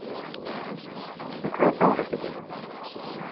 En hvað er þá hægt að gera?